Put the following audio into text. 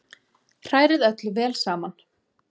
Hrærið öllu vel saman